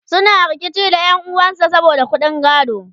suna rikici da ƴan'uwan sa saboda ƙuɗin gado